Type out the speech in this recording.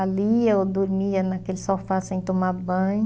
Ali eu dormia naquele sofá sem tomar banho.